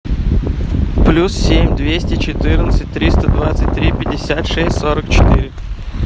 плюс семь двести четырнадцать триста двадцать три пятьдесят шесть сорок четыре